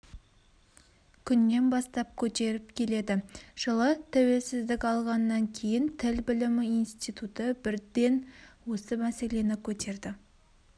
күннен бастап көтеріп келеді жылы тәуелсіздік алғаннан кейін тіл білімі институты бірден осы мәселені көтерді